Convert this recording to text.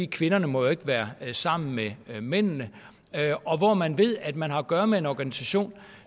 kvinderne må jo ikke være sammen med mændene og hvor man ved at man har at gøre med en organisation